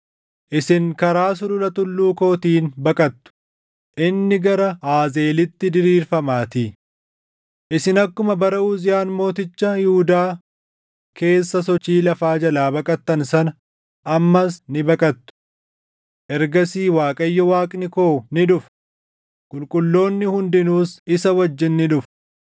Isin karaa sulula tulluu kootiin baqattu; inni gara Aazeelitti diriirfamaatii. Isin akkuma bara Uziyaan mooticha Yihuudaa keessa sochii lafaa jalaa baqattan sana ammas ni baqattu. Ergasii Waaqayyo, Waaqni koo ni dhufa; qulqulloonni hundinuus isa wajjin ni dhufu.